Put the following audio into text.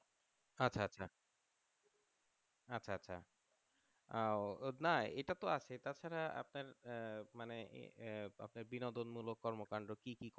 আচ্ছা আহ ও না এটাতো আছে তাছাড়া আপনার আহ মানে আহ আপনার বিনোদন মূলক কর্মকাণ্ড কি কি